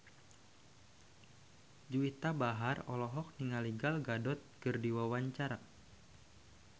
Juwita Bahar olohok ningali Gal Gadot keur diwawancara